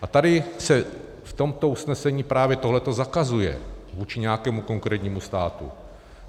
A tady se v tomto usnesení právě tohle zakazuje vůči nějakému konkrétnímu státu.